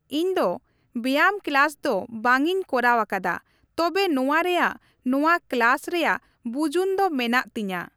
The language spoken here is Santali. ᱤᱧᱫᱚ ᱵᱮᱭᱟᱢ ᱠᱞᱟᱥ ᱫᱚ ᱵᱟᱝ ᱤᱧ ᱠᱚᱨᱟᱣ ᱟᱠᱟᱫᱟ ᱛᱚᱵᱮ ᱱᱚᱣᱟ ᱨᱮᱭᱟᱜ ᱱᱚᱣᱟ ᱠᱞᱟᱥ ᱨᱮᱭᱟᱜ ᱵᱩᱡᱩᱱ ᱫᱚ ᱢᱮᱱᱟᱜ ᱛᱤᱧᱟᱹ ᱾